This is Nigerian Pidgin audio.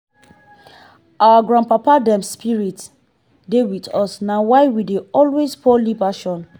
our grandpapa dem spirit dey wit us na why we dey always pour libation.